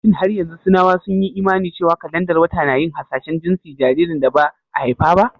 Shin har yanzu Sinawa sun yi imani cewa kalandar wata na yin hasashen jinsin jaririn da ba a haifa ba?